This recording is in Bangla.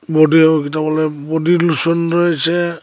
বডি বলে বোডিলোসন রয়েছে।